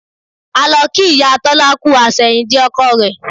A lọ kí ìyá Tọ́lá kú àsẹ̀yìndè ọkọ rẹ̀